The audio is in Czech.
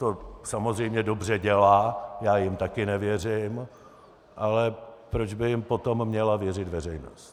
To samozřejmě dobře dělá, já jim také nevěřím, ale proč by jim potom měla věřit veřejnost?